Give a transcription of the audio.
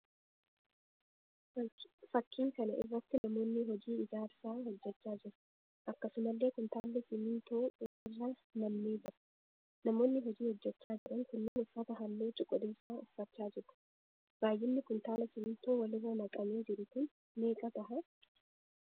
Fakkiin kana irratti namoonni hojii ijaarsaa hojjechaa jiru. Akkasumallee kuntaallli simmintoo walirra nammee jira. Namoonni hojii hojjechaa jiran kunniin uffata halluu cuquliisaa uffachaa jiru. Baayyinni kuntaala simmintoo walirra naqamee jiru kun meeqa tahaa?